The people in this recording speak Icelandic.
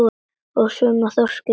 Og samur var þroski minn.